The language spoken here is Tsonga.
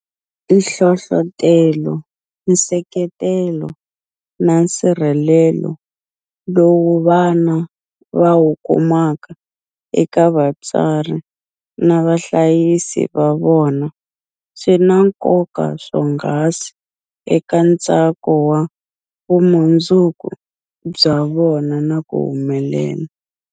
Nhlohlotelo, nseketelo na nsirhelelo lowu vana va wu kumaka eka vatswari na vahlayisi va vona swi na nkoka swonghasi eka ntsako wa vumundzuku bya vona na ku humelela.